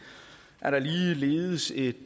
er der ligeledes et